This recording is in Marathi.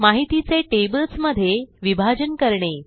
माहितीचे टेबल्स मध्ये विभाजन करणे